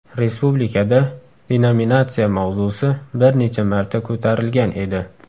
Respublikada denominatsiya mavzusi bir necha marta ko‘tarilgan edi.